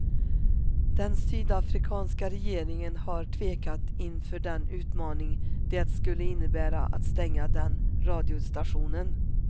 Den sydafrikanska regeringen har tvekat inför den utmaning det skulle innebära att stänga den radiostationen.